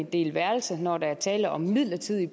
dele værelse når der er tale om midlertidig